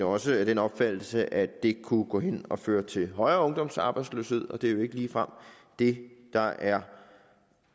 også af den opfattelse at det kunne gå hen og føre til højere ungdomsarbejdsløshed og det er jo ikke ligefrem det der er